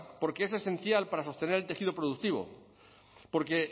porque es esencial para sostener el tejido productivo porque